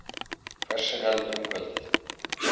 Hvessir heldur um kvöldið